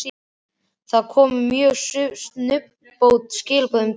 Það komu mjög snubbótt skilaboð um daginn.